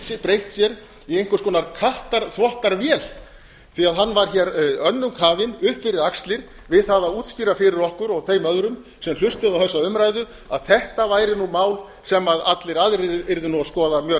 hafi breytt sér í einhvers konar kattarþvottavél því hann var hér önnum kafinn upp fyrir axlir við það að útskýra fyrir okkur og þeim öðrum sem hlustuðu á þessa umræðu að þetta væri nú mál sem allir aðrir yrðu nú að skoða mjög